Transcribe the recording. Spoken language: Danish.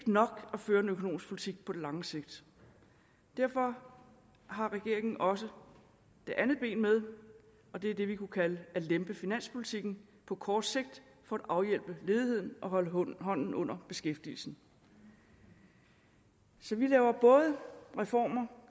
nok at føre en økonomisk politik på det lange sigt derfor har regeringen også det andet ben med det er det vi kunne kalde at lempe finanspolitikken på kort sigt for at afhjælpe ledigheden og holde hånden under beskæftigelsen så vi laver både reformer